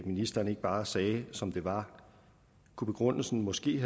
ministeren ikke bare sagde det som det var kunne begrundelsen måske